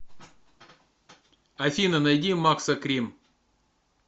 афина найди максо крим